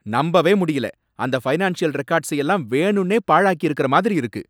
நம்பவே முடியல! அந்த ஃபைனான்ஷியல் ரெக்கார்ட்ஸை எல்லாம் வேணும்னே பாழாக்கியிருக்குற மாதிரி இருக்கு!